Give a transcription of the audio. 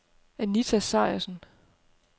Anita Sejersen